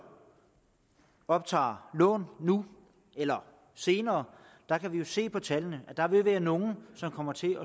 optager lån nu eller senere kan vi se på tallene at der vil være nogle som kommer til